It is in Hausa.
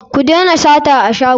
Ku dena sata a shago.